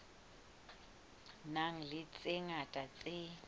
nang le tse ngata tse